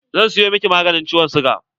Zan siyo miki maganin ciwon siga.